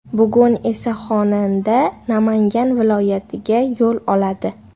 Bugun esa xonanda Namangan viloyatiga yo‘l oladi.